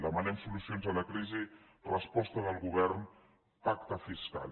demanem solucions a la crisi resposta del govern pacte fiscal